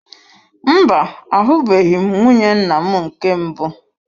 Mba, ahubeghi m nwunye nnam nke mbụ.